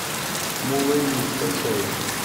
мулэйни скачай